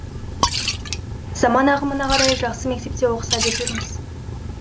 заман ағымына қарай жақсы мектепте оқыса деп жүрміз